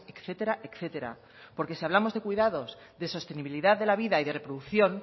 etcétera etcétera porque si hablamos de cuidados de sostenibilidad de la vida y de reproducción